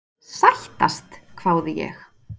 Sættast? hváði ég.